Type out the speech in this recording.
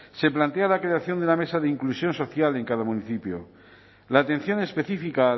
se plantea la creación de una mesa de inclusión social en cada municipio la atención específica